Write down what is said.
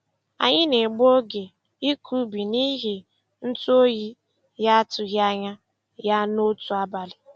Anyị na-egbu oge ịkọ ubi n'ihi ntu oyi na-atụghị anya ya n'otu abalị.